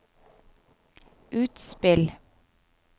utspill